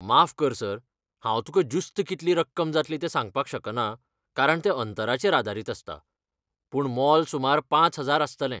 माफ कर सर, हांव तुका ज्युस्त कितली रक्कम जातली ते सांगपाक शकना कारण ते अंतराचेर आदारीत आसता, पूण मोल सुमार पांच हजार आसतले.